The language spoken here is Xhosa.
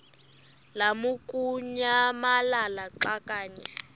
lamukunyamalala xa kanye